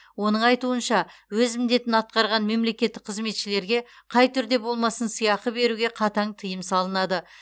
оның айтуынша өз міндетін атқарған мемлекеттік қызметшілерге қай түрде болмасын сыйақы беруге қатаң тыйым салынады